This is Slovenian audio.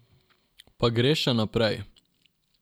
Pa greš še naprej.